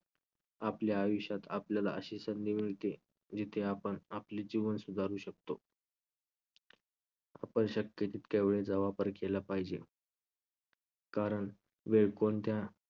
आपल्या आयुष्यात आपल्याला अशी संधी मिळते जिथे आपण आपले जीवन सुधारू शकतो. आपण शक्य जितका वेळेचा वापर केला पाहिजे कारण वेळ कोणत्या